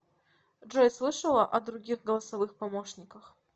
джой слышала о других голосовых помощниках